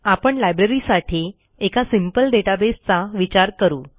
आपण लायब्ररीसाठी एका सिंपल डेटाबेस चा विचार करू